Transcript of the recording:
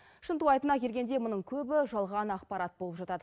шынтуайтына келгенде мұның көбі жалған ақпарат болып жатады